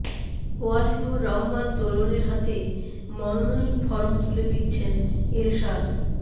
ওয়াসিউর রহমান দোলনের হাতে মনোনয়ন ফরম তুলে দিচ্ছেন এরশাদ